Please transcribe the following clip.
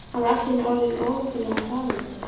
Hann var allt í einu orðinn ónotalega hranalegur.